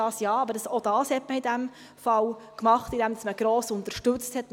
Auch das hat man in diesem Fall gemacht, indem man gross unterstützt hat.